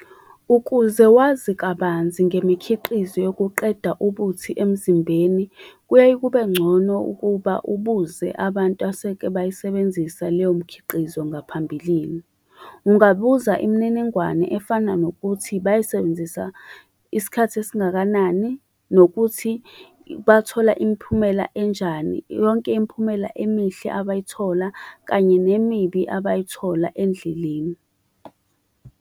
Ukuze wazi kabanzi ngemikhiqizo yokuqeda ubuthi emzimbeni, kuyaye kube ngcono ukuba ubuze abantu aseke bayisebenzisa leyo mkhiqizo ngaphambilini. Ungabuza imininingwane efana nokuthi bayisebenzisa isikhathi esingakanani, nokuthi bathola imiphumela enjani, yonke imiphumela emihle abayithola, kanye nemibi abayithola endleleni.